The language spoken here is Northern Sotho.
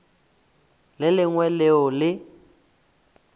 le le lengwe leo le